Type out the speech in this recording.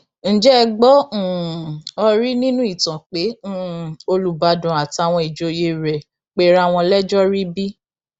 ǹjẹ ẹ gbọ um ọ rí nínú ìtàn pé um olùbàdàn àtàwọn ìjòyè rẹ pera wọn lẹjọ rí bí